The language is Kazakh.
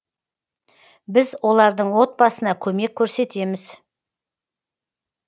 біз олардың отбасына көмек көрсетеміз